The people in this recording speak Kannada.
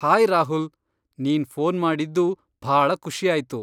ಹಾಯ್ ರಾಹುಲ್! ನೀನ್ ಫೋನ್ ಮಾಡಿದ್ದು ಭಾಳ ಖುಷಿಯಾಯ್ತು.